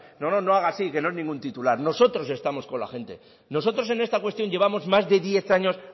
no no no haga así que no es ningún titular nosotros estamos con la gente nosotros en esta cuestión llevamos más de diez años